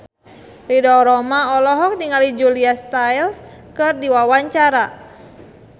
Ridho Roma olohok ningali Julia Stiles keur diwawancara